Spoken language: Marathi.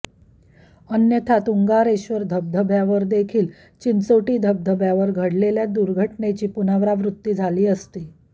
अन्यथा तुंगारेश्वर धबधब्यावर देखील चिंचोटी धबधब्यावर घडलेल्या दुर्घटनेची पुनरावृत्ती झाली असती